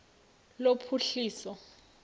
lophuhliso